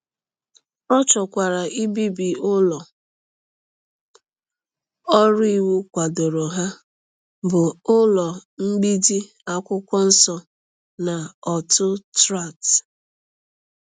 Ọ chọkwara ibibi ụlọ ọrụ iwu kwadoro ha, bụ́ ụlọ mgbidi akwụkwọ nsọ na ọtụ Tract.